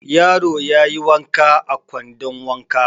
Yaro ya yi wanka a kwandon wanka.